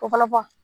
O fɔlɔfɔlɔ